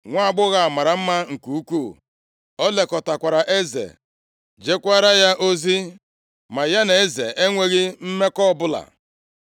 Nwaagbọghọ a mara mma nke ukwuu; ọ lekọtakwara eze, jekwaara ya ozi ma ya na eze enweghị mmekọ ọbụla.